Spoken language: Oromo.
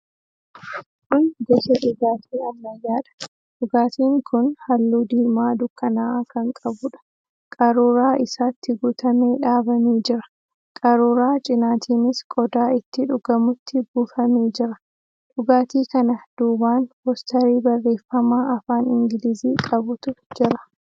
Kun gosa dhugaatii ammayyaadha. Dhugaatiin kun halluu diimaa dukkana'aa kan qabuudha. Qaruuraa isaatti guutamee dhaabamee jira. Qaruuraa cinaatiinis qodaa itti dhugamutti buufamee jira. Dhugaatii kana duubaan poosterii barreefama afaan Ingilizii qabutu jira.